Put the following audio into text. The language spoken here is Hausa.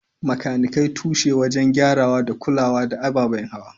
Makanikai tushe wajen gyarawa da kula da ababen hawa.